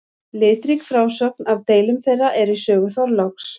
Litrík frásögn af deilum þeirra er í sögu Þorláks.